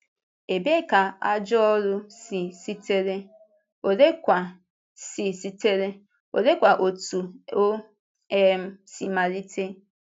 Ebee ka “ajọ ọ́rụ” si sitere, oleekwa si sitere, oleekwa otú o um si malite?